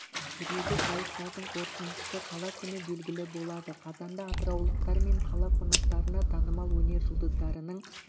жүреді сайыстардың қорытындысы қала күні белгілі болады қазанда атыраулықтар мен қала қонақтарына танымал өнер жұлдыздарының